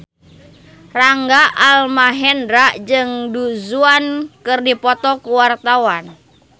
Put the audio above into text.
Rangga Almahendra jeung Du Juan keur dipoto ku wartawan